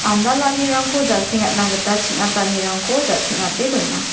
andalanirangko jasengatna gita ching·atanirangko ja-teng·ate dona.